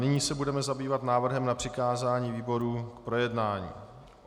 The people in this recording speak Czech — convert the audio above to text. Nyní se budeme zabývat návrhem na přikázání výborům k projednání.